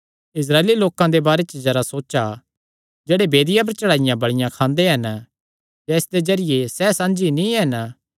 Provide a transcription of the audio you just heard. इस्राएली लोकां दे बारे च जरा सोचा जेह्ड़े वेदिया पर चढ़ाईया बल़िया खांदे हन क्या इसदे जरिये सैह़ साझी नीं हन